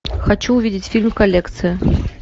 хочу увидеть фильм коллекция